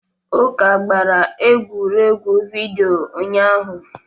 Uka gbara egwuregwu vidiyo ụnyahụ.